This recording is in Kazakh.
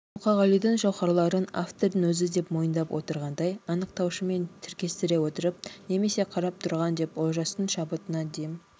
мұқағалидың жауһарларын автордың өзі деп мойындап отырғандай анықтауышымен тіркестіре отырып немесе қарап тұрған деп олжастың шабытына дем